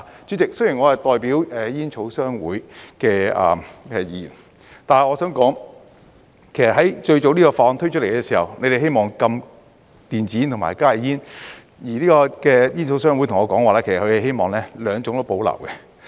主席，雖然我是代表煙草商會的議員，但我想說，在這項法案最早推出來的時候，你們是希望禁電子煙和加熱煙，而煙草商會對我說，其實他們希望兩種都保留。